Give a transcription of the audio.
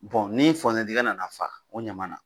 ni nana fa o ɲama na